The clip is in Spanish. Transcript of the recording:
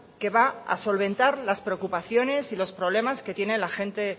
que va a solventar las preocupaciones y los problemas que tiene la gente